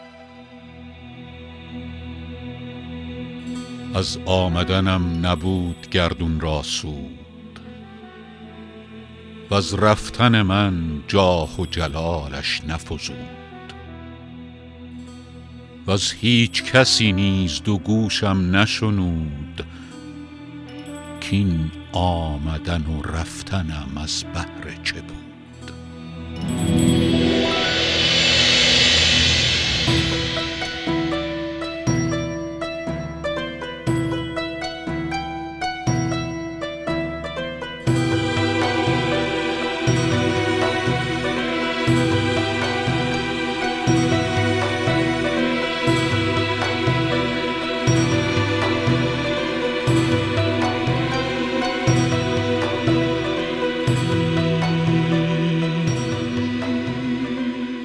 از آمدنم نبود گردون را سود وز رفتن من جاه و جلالش نفزود وز هیچ کسی نیز دو گوشم نشنود کاین آمدن و رفتنم از بهر چه بود